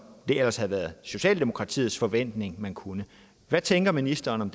det ellers havde været socialdemokratiets forventning at man kunne hvad tænker ministeren om